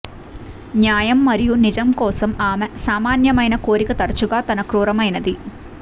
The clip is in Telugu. న్యాయం మరియు నిజం కోసం ఆమె సామాన్యమైన కోరిక తరచుగా తన క్రూరమైనది